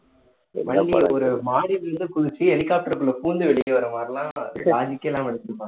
வண்டி ஒரு மாடியில இருந்து குதிச்சு helicopter க்குள்ள பூந்து வெளியே வர மாதிரி எல்லாம் logic கே இல்லாம எடுத்திருப்பாங்க